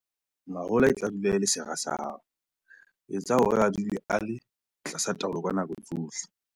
Mahola a tla dula e le sera sa hao - etsa hore a dule a le tlasa taolo ka nako tsohle.